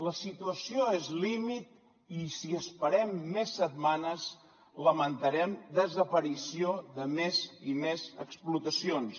la situació és límit i si esperem més setmanes lamentarem desaparició de més i més explotacions